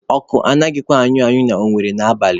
Ọkụ anaghịkwa anyụ anyụ na Owere n'abalị